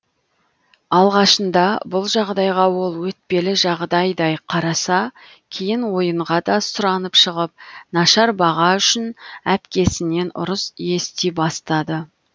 алғашында бұл жағдайға ол өтпелі жағдайдай қараса кейін ойынға да сұранып шығып нашар баға үшін әпкесінен ұрыс ести бастады